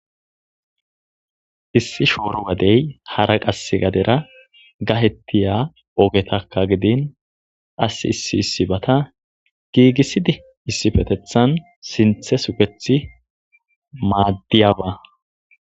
Issi shoro gade hara shoro gadera gaytetiya ogetaka giddin qassi issi issibata giggisidi issipetetan sintha sugeti maddiyaba